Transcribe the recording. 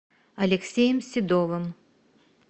алексеем седовым